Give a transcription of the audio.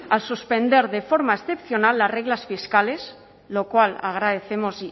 al suspender de forma excepcional las reglas fiscales lo cual agradecemos